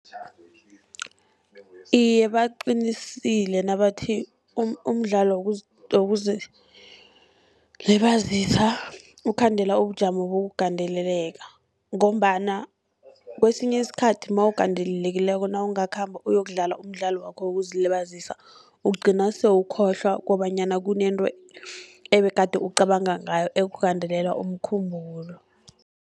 Iye, baqinisile nabathi umdlalo wokuzilibazisa ukhandela ubujamo bokugandeleleka., ngombana kesinye isikhathi nawugandelelekileko, nawungakhamba uyokudlala umdlalo wakho wokuzilibazisa, ugcina sewukhohlwa kobanyana kunento ebegade ucabanga ngayo ekugandelela umkhumbulo.